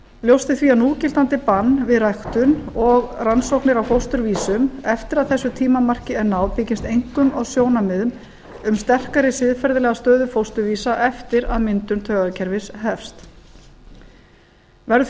ljóst er því að núgildandi bann við ræktun og rannsóknir á fósturvísum eftir að þessu tímamarki er náð byggist einkum á sjónarmiðum um sterkari siðferðilega stöðu fósturvísa eftir að myndun taugakerfis hefst verður því